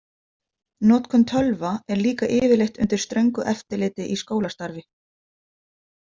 Notkun tölva er líka yfirleitt undir ströngu eftirliti í skólastarfi.